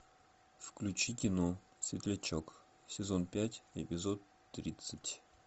включи кино светлячок сезон пять эпизод тридцать